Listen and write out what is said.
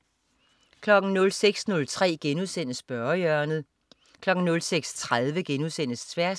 06.03 Spørgehjørnet* 06.30 Tværs*